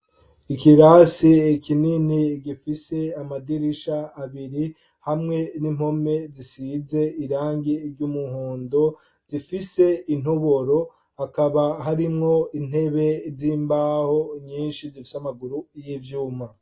Ikirasi kinini gifise amadirisha abiri, hamwe nimpome zisize irangi ry'umuhondo, zifise intoboro, hakaba hari Intebe nyishi zifise amaguru y'ivyuma.